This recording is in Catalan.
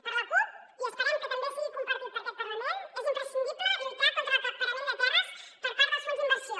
per la cup i esperem que també sigui compartit per aquest parlament és imprescindible lluitar contra l’acaparament de terres per part dels fons d’inversió